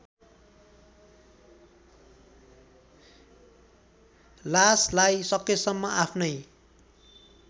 लासलाई सकेसम्म आफ्नै